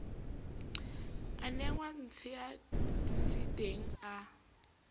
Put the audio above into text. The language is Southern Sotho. a nenga ntsea dutseteng a